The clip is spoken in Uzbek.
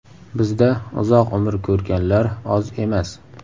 Bizda uzoq umr ko‘rganlar oz emas.